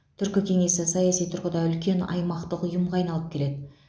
түркі кеңесі саяси тұрғыда үлкен аймақтық ұйымға айналып келеді